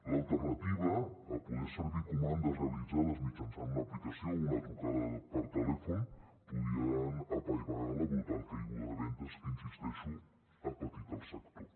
l’alternativa a poder servir comandes realitzades mitjançant una aplicació o una trucada per telèfon podria apaivagar la brutal caiguda de vendes que hi insisteixo ha patit el sector